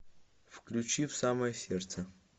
включи в самое сердце